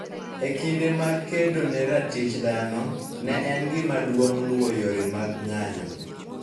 E kinde mag kedo ne ratich dhano, ne en gima duong ' luwo yore mag ng'anyo.